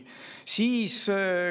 Nii.